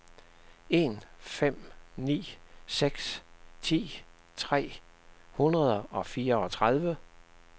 en fem ni seks ti tre hundrede og fireogtredive